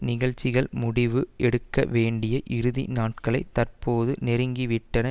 நிகழ்ச்சிகள் முடிவு எடுக்க வேண்டிய இறுதி நாட்களை தற்போது நெருங்கிவிட்டன